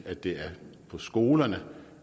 at det er på skolerne